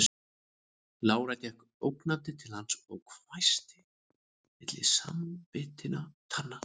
Lára gekk ógnandi til hans og hvæsti milli samanbitinna tanna